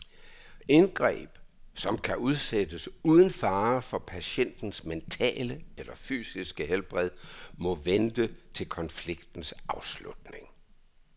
Indgreb, som kan udsættes uden fare for patientens mentale eller fysiske helbred, må vente til konfliktens afslutning.